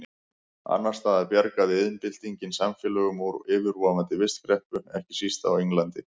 Annars staðar bjargaði iðnbyltingin samfélögum úr yfirvofandi vistkreppu, ekki síst á Englandi.